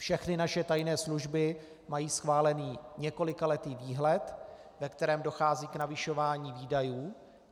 Všechny naše tajné služby mají schválený několikaletý výhled, ve kterém dochází k navyšování výdajů.